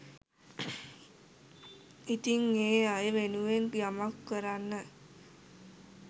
ඉතිං ඒ අය වෙනුවෙන් යමක් කරන්න